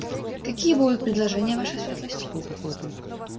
какие будут предложения ваша светлость